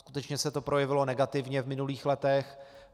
Skutečně se to projevilo negativně v minulých letech.